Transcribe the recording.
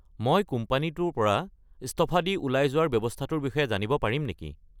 মই কোম্পানীটোৰ পৰা ইস্তফা দি ওলাই যোৱাৰ ব্যৱস্থাটোৰ বিষয়ে জানিব পাৰিম নেকি?